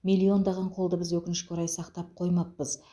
миллиондаған қолды біз өкінішке орай сақтап қоймаппыз